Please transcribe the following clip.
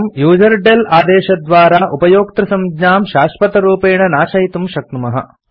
वयम् यूजरडेल आदेशद्वारा उपयोक्तृसंज्ञां शाश्वतरूपेण नाशयितुं शक्नुमः